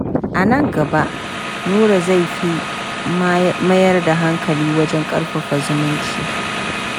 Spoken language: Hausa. A nan gaba, Nura zai fi mayar da hankali wajen ƙarfafa zumunci.